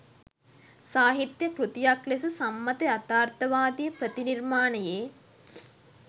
සාහිත්‍යය කෘතියක් ලෙස සම්මත යථාර්ථවාදී ප්‍රතිනිර්මාණයේ